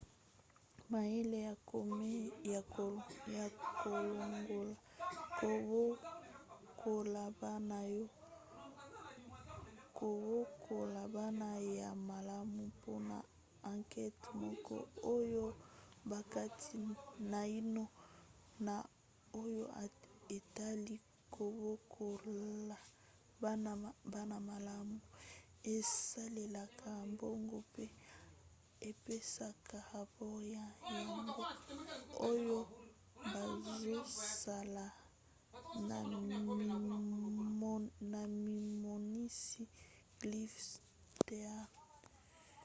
mayele ya komen ya kolongola kobokola bana ya malamu mpona ankete moko oyo bakati naino na oyo etali kobokola bana malamu esalelaka mbongo mpe epesaka rapore na yango oyo bazosala na mimonisi cliff stearns